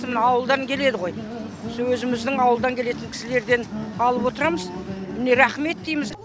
мына ауылдан келеді ғой осы өзіміздің ауылдан келетін кісілерден алып отырамыз мәне рахмет дейміз